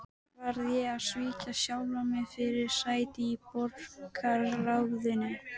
Á hina hönd þrautseigja og viljinn til að lifa af.